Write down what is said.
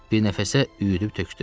Bir nəfəsə üyüdüb tökdü.